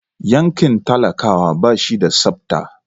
Yankin talakawa ba shi da tsabta.